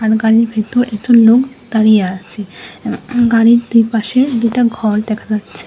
গাড়ির ভিতর একজন লোক দাঁড়িয়ে আছে গাড়ি দু'পাশে দুটা ঘর দেখা যাচ্ছে।